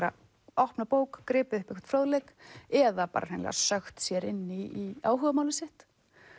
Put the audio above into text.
opnað bók og gripið upp einhvern fróðleik eða bara hreinlega sökkt sér inn í áhugamálið sitt